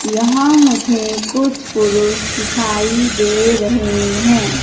यहां मुझे कुछ पुरुष दिखाई दे रहे है।